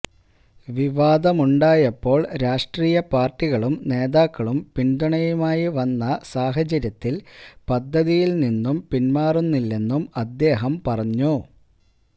വിവാദമുണ്ടായപ്പോള് രാഷ്ട്രീയ പാര്ട്ടികളും നേതാക്കളും പിന്തുണയുമായി വന്ന സാഹചര്യത്തില് പദ്ധതിയില് നിന്നും പിന്മാറുന്നില്ലെന്നും അദ്ദേഹം പറഞ്ഞു